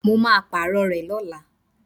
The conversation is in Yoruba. Mo máa Pààrọ̀ rẹ̀ lọ́la